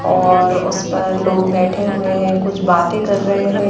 और उस पर लोग बैठे हुए हैं कुछ बातें कर रहे हैं।